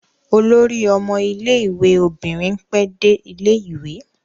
Olórí ọmọ ilé-ìwé obìnrin pẹ́ dé ilé-ìwé.